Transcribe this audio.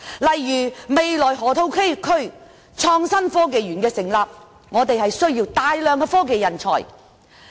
例如，落馬洲河套地區未來成立港深創新及科技園，需要大量科技人才。